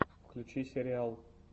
включи сириал